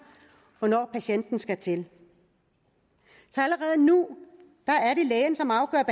hvornår patienten skal til allerede nu er det lægen som afgør